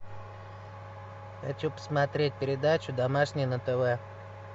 хочу посмотреть передачу домашний на тв